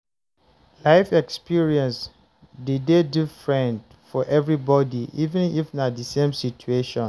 Life experience de dey different for everybody, even if na the same situation